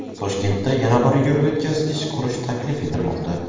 Toshkentda yana bir yo‘l o‘tkazgich qurish taklif etilmoqda.